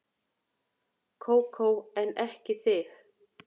Kókó en ekki þig.